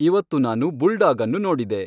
ಇವತ್ತು ನಾನು ಬುಲ್ಡಾಗ್ ಅನ್ನು ನೋಡಿದೆ